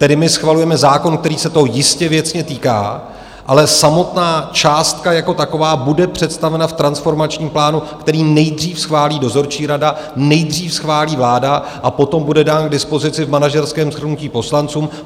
Tedy my schvalujeme zákon, který se toho jistě věcně týká, ale samotná částka jako taková bude představena v transformačním plánu, který nejdřív schválí dozorčí rada, nejdřív schválí vláda a potom bude dán k dispozici v manažerském shrnutí poslancům.